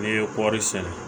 N'i ye kɔri sɛnɛ